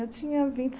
Eu tinha vinte